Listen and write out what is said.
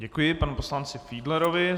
Děkuji panu poslanci Fiedlerovi.